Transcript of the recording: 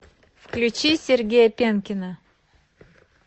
включи сергея пенкина